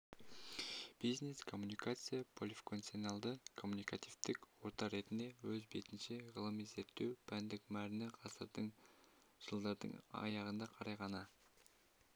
бизнес-коммуникация полифункционалды коммуникативтік орта ретінде өз бетінше ғылыми-зерттеу пәндік мәрні ғасырдың жылдардың аяғына қарай ғана